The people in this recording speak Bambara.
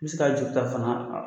N bɛ se ka juru ta fana